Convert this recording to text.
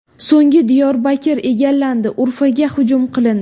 So‘ng Diyorbakr egallandi, Urfaga hujum qilindi.